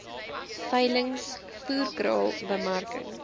veilings voerkraal bemarking